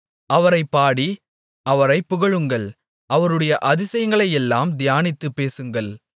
அவரைப் பாடி அவரைப் புகழுங்கள் அவருடைய அதிசயங்களையெல்லாம் தியானித்துப் பேசுங்கள்